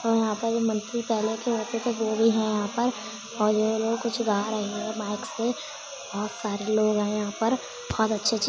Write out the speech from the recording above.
और यहाँ पर है यहाँ पर और ये लोग कुछ गा रहे हैं माइक से। बोहोत सारे लोग हैं यहाँ पर। बहोत अच्छे-अच्छे --